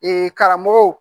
Ee karamɔgɔw